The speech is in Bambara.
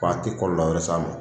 Ko a tɛ kɔlɔlɔ wɛrɛ se a ma